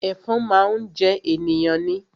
Ẹ̀fọn máa ń jẹ ènìyàn ni